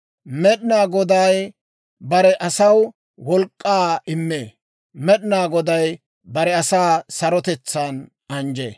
Med'inaa Goday bare asaw wolk'k'aa immee. Med'inaa Goday bare asaa sarotetsaan anjjee.